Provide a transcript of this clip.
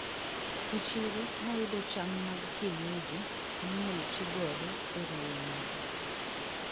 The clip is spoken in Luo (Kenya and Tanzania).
E chiro nayudo cham mag kienyeji minyalo tigodo e ruwo nyuka.